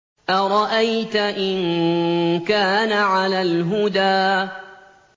أَرَأَيْتَ إِن كَانَ عَلَى الْهُدَىٰ